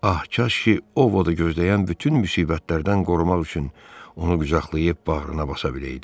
Ah, kaş ki, O Vodu gözləyən bütün müsibətlərdən qorumaq üçün onu qucaqlayıb bağrına basa biləyidi.